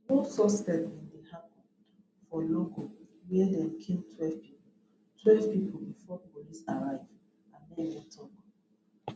no suspect bin dey happun for logo wia dem kill twelve pipo twelve pipo before police arrive anene tok